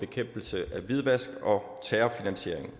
bekæmpelse af hvidvask og terrorfinansiering